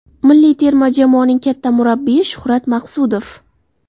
Milliy terma jamoaning katta murabbiyi Shuhrat Maqsudov.